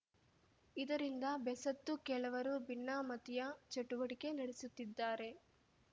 ಇದರಿಂದ ಬೆಸತ್ತು ಕೆಲವರು ಭಿನ್ನಮತೀಯ ಚಟುವಟಿಕೆ ನಡೆಸುತ್ತಿದ್ದಾರೆ